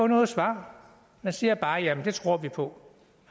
noget svar man siger bare jamen det tror vi på